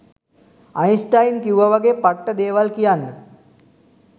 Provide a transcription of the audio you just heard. Einstein කිව්ව වගේ පට්ට දේවල් කියන්න